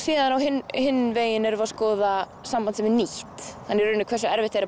á hinn hinn bóginn erum við að skoða samband sem er nýtt hversu erfitt er